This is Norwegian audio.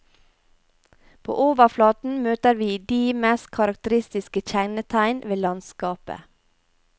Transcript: På overflaten møter vi de mest karakteristiske kjennetegn ved landskapet.